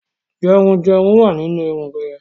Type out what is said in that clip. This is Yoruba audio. Dandruff is in her hair